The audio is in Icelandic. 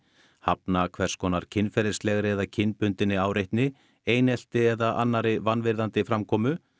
hafna hvers konar kynferðislegri eða kynbundinni áreitni einelti eða annarri vanvirðandi framkomu